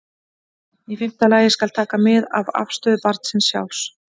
Í fimmta lagi skal taka mið af afstöðu barnsins sjálfs.